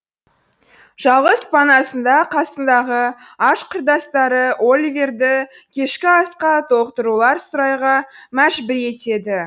жалғыз панасында қасындағы аш құрдастары оливерді кешкі асқа толықтырулар сұрайға мәжбүр етеді